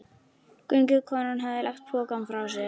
Göngukonan hafði lagt pokann frá sér.